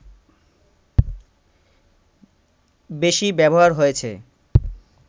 বেশি ব্যবহার হয়েছে